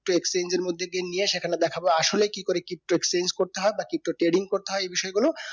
তো exchange এর মধ্যে সেখানে দেখাবে আসলে কি করে pto cxchange করতে হয় বা pto trading করতে হয় এই বিষয় গুলো